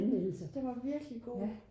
den var virkelig god